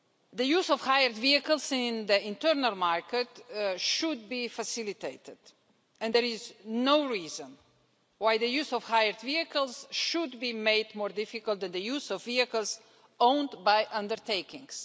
The use of hired vehicles in the internal market should be facilitated, and there is no reason why the use of hired vehicles should be made more difficult than the use of vehicles owned by undertakings.